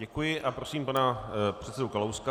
Děkuji a prosím pana předsedu Kalouska.